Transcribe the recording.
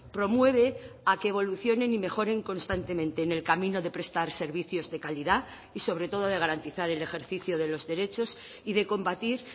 promueve a que evolucionen y mejoren constantemente en el camino de prestar servicios de calidad y sobre todo de garantizar el ejercicio de los derechos y de combatir